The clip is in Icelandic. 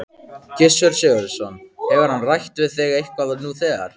Gissur Sigurðsson: Hefur hann rætt við þig eitthvað nú þegar?